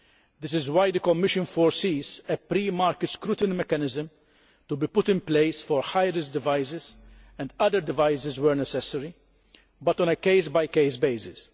This is why the Commission foresees a pre market scrutiny mechanism to be put in place for high risk devices, and other devices where necessary, but on a case by case basis.